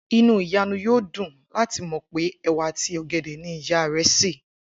Inú Ìyànu yóò dùn láti mò̩ pé è̩wà àti ò̩gè̩dè̩ ni ìyá rè̩ sè